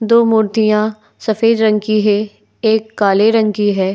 दो मूर्तियाँ सफेद रंग की है। एक काले रंग की है।